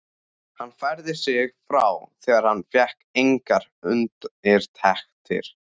Hann færði sig frá þegar hann fékk engar undirtektir.